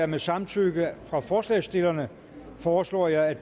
med samtykke fra forslagsstillerne foreslår jeg